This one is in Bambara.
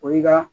O y'i ka